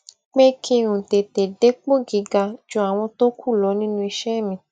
pé kí n tètè dépò gíga ju àwọn tó kù lọ nínú iṣé mi